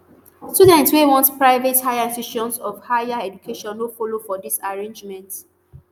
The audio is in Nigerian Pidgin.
students wey want private higher institutions of higher education no follow for dis arrangement